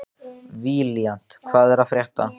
Valíant, hvað er að frétta?